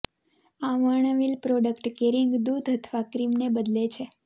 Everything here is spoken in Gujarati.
આ વર્ણવેલ પ્રોડક્ટ કેરિંગ દૂધ અથવા ક્રીમને બદલે છે